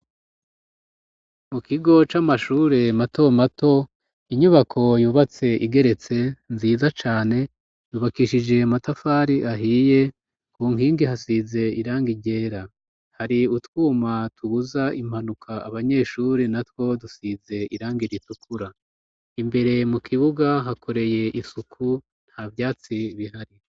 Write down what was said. Mu kigo c'amashuri mato mato, inyubako yubatse igeretse nziza cane yubakishije matafari ahiye, ku nkingi hasize irangi ryera, hari utwuma tubuza impanuka abanyeshuri na two dusize irangi itukura. Imbere mu kibuga hakoreye isuku nta vyatsi bihari.